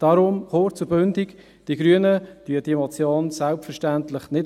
Deshalb, kurz und bündig: Die Grünen unterstützen diese Motion selbstverständlich nicht.